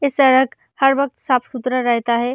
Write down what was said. ये सड़क हर वक्त साफ-सुथरा रहता है।